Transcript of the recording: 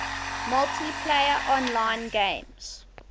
multiplayer online games